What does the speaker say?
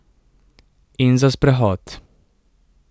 In za sprehod.